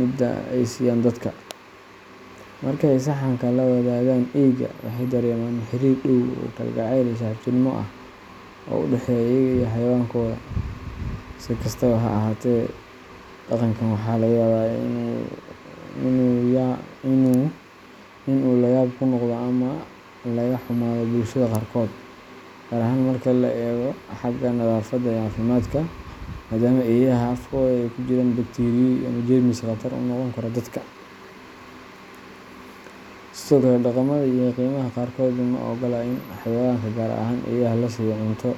mida ay siiyaan dadka. Marka ay saxanka la wadaagaan eeyga, waxay dareemaan xiriir dhow oo kalgacayl iyo saaxiibtinimo ah oo u dhexeeya iyaga iyo xayawaankooda. Si kastaba, dhaqankan waxaa laga yaabaa in uu layaab ku noqdo ama laga xumaado bulshada qaarkood, gaar ahaan marka laga eego xagga nadaafadda iyo caafimaadka, maadaama eeyaha afkooda ay ku jiraan bakteeriyo ama jeermis khatar u noqon kara dadka. Sidoo kale, dhaqamada iyo diimaha qaarkood ma oggola in xayawaanka gaar ahaan eeyaha la siiyo cunto